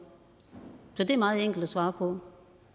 så det er meget enkelt at svare på